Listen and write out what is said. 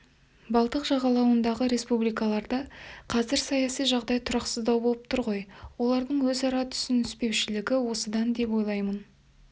балтық жағалауындағы республикаларда қазір саяси жағдай тұрақсыздау болып тұр ғой олардың өзара түсініспеушілігі осыдан деп ойлаймын